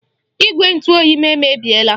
Igwe ntụ oyi m emebiela.